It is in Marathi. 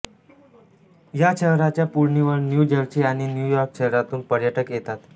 या शहराच्या पुळणीवर न्यू जर्सी आणि न्यू यॉर्क शहरातून पर्यटक येतात